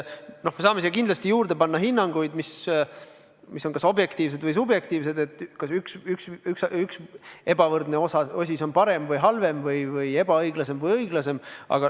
Me saame siia kindlasti juurde panna hinnanguid, mis on kas objektiivsed või subjektiivsed, näiteks kas üks ebavõrdne osis on parem või halvem või ebaõiglasem või õiglasem.